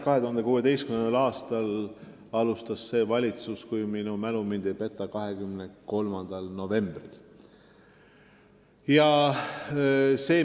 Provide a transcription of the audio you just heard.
2016. aastal alustas see valitsus, kui minu mälu mind ei peta, 23. novembril.